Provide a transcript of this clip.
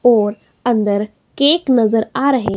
और अंदर केक नजर आ रहे--